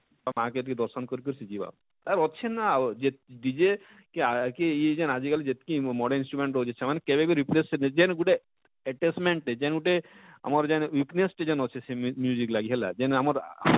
ଆଉ ମାଁ କେ ବି ଦର୍ଶନ କରି କରି ସେ ଯିବା ଆଉ ଅଛେ ନା ଯେତ dj ଏଁ କି କା ଇଜେନ ଆଜିକାଲି moden instrument ହଉଛେ ସେମାନେ କେବେ ବି repress ଯେନ ଗୁଟେ attachment ଟେ ଯେନ ଗୁଟେ ଆମର ଯେନ weakness ଯେନ ଅଛେ ସେ ଯେନ ଲାଗି ହେଲା ଯେନ ଆମର ,